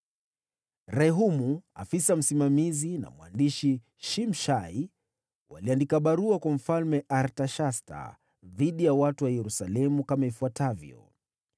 Rehumu afisa msimamizi na mwandishi Shimshai waliandika barua kwa Mfalme Artashasta dhidi ya watu wa Yerusalemu kama ifuatavyo: